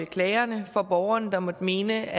klagerne for borgerne der måtte mene